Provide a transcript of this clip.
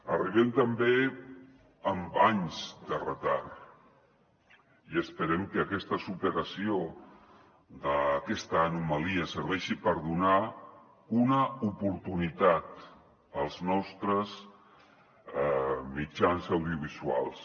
arribem també amb anys de retard i esperem que aquesta superació d’aquesta anomalia serveixi per donar una oportunitat als nostres mitjans audiovisuals